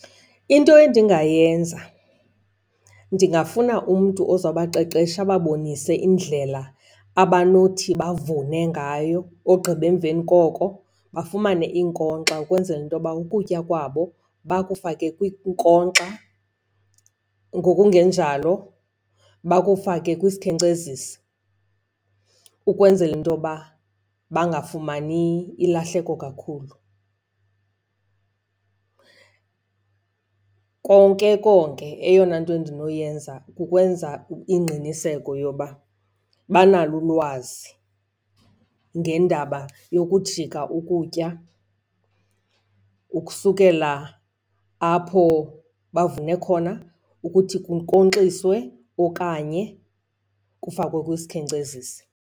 Into endingayenza, ndingafuna umntu ozawubaqeqesha ababonise indlela abanothi bavune ngayo. Ogqiba emveni koko bafumane iinkonkxa ukwenzela intoba ukutya kwabo bakufake kwiinkonkxa, ngokungenjalo bakufake kwisikhenkcezisi ukwenzela into yoba bangafumani ilahleko kakhulu. Konke konke eyona nto endinoyenza kukwenza ingqiniseko yoba banalo ulwazi ngendaba yokujika ukutya ukusukela apho bavune khona ukuthi kunkonkxiswe okanye kufakwe kwisikhenkcezisi.